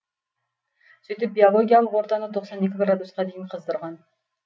сөйтіп биологиялық ортаны тоқсан екі градусқа дейін қыздырған